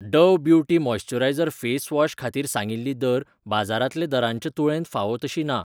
Dove beauty moisture face wash खातीर सांगिल्ली दर बाजारांतल्या दरांचे तुळेंत फावो तशी ना.